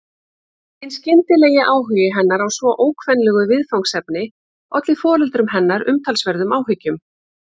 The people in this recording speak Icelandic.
Hinn skyndilegi áhugi hennar á svo ókvenlegu viðfangsefni olli foreldrum hennar umtalsverðum áhyggjum.